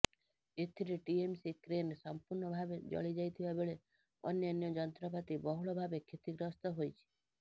ଏଥିରେ TMC crane ସମ୍ପୁର୍ଣ୍ଣ ଭାବେ ଜଳିଯାଇଥିବା ବେଳେ ଅନ୍ୟାନ୍ୟ ଯନ୍ତ୍ରପାତି ବହୁଳ ଭାବେ କ୍ଷତିଗ୍ରସ୍ତ ହୋଇଛି